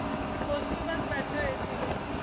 ਕੁਸ਼ ਨੀ ਬਸ ਬੈਠੇ ਹੋਏ ਸੀ ਗੇ